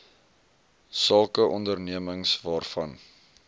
sake ondernemings waarvan